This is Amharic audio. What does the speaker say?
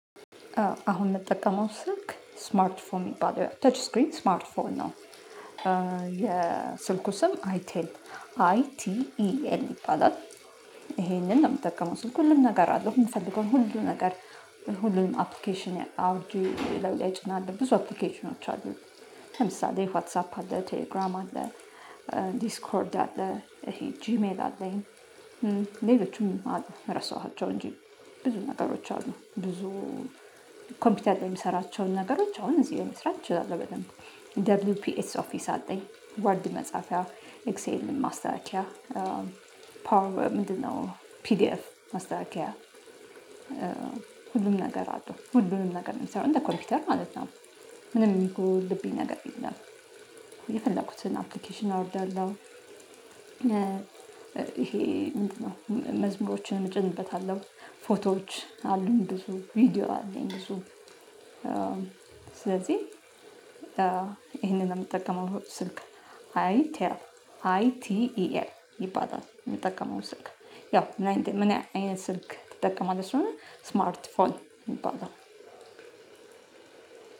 አሁን የምጠቀመው ስልክ ስማርት ፎን የሚባለው ተች እስክሪን ስማርት ፎን ነው። የስልኩ ስም አይ ቲ አይ ቲ ኢ ኤል ይባላል። ይሄንን ነው የምጠቀመው ስልኩ ሁሉም ነገር አለው የምፈልገው ሁሉም ነገር። ሁሉም አፕሊኬሽን አውርጄ ሌላው እጭናለው ብዙ አፕሊኬሽኖች አሉኝ። ለምሳሌ ዋትሳፕ አለ ቴሌግራም አለ። ዲስኮርድ አለ። ይሄ ጂሜል አለኝ። ሌሎቹም ራሱ እራሳዋቸው እንጂ ብዙ ነገሮች አሉ። ብዙ ኮምፒውተር የሚሰራቸውን ነገሮች አሁን እዚህ መስራት ትችላለህ በደንብ። ደብሊው ፒኤስ ኦፊስ አለኝ ወርድ መጽሐፊያ ኤክሴል ማስተካከያ ፓወር ምንድነው? ፒዲኤፍ ማስተካከያ። ሁሉም ነገር አለው ሁሉም ነገር ነው የሚሰራው እንደ ኮምፒውተር ማለት ነው። ምንም ይሁን ልቤ ነገር የለም። የፈለኩትን አፕሊኬሽን አወርዳለሁ። ይሄ መዝሙሮችን እጨንበታለሁ ፎቶዎች አሉኝ ብዙ ቪዲዮ አለኝ ብዙ ስለዚህ ይሄንን የምጠቀመው ስልክ። አይ ቴል ሃይ ቲ ኢ ኤል ይባላል። የምጠቀመው ስልክ። ያው ምን አይነት ስልክ ትጠቀማለህ? ስለሆነ ስማርት ፎን ይባላል።